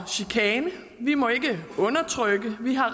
og chikane vi må ikke undertrykke vi har